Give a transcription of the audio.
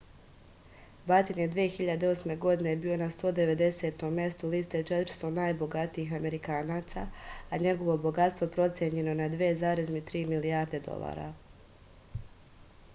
baten je 2008. godine bio na 190. mestu liste 400 najbogatijih amerikanaca a njegovo bogatstvo procenjeno je na 2,3 milijarde dolara